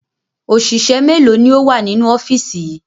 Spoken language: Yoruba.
Òṣìṣẹ́ mélòó ni ó wà nínú ọ́fíìsì yìí?